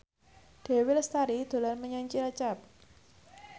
Dewi Lestari dolan menyang Cilacap